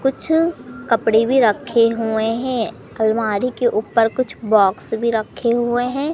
कुछ कपड़े भी रखे हुए है अलमारी के ऊपर कुछ बॉक्स भी रखे हुए है।